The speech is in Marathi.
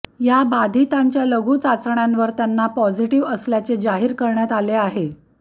या बाधीतांच्या लघू चाचण्यांवर त्यांना पॉझिटिव्ह असल्याचे जाहीर करण्यात आले आहे